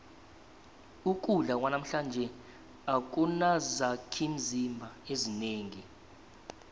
ukudla kwanamhlanje akunazakhimzimba ezinengi